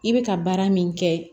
I bɛ ka baara min kɛ